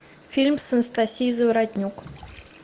фильм с анастасией заворотнюк